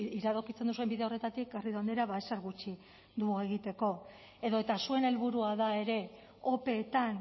iradokitzen duzuen bide horretatik garrido andrea ezer gutxi dugu egiteko edo eta zuen helburua da ere opeetan